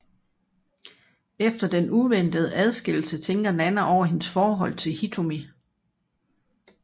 Efter den uventede adskillelse tænker Nana over hendes forhold til Hitomi